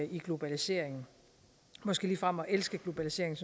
i globaliseringen måske ligefrem at elske globaliseringen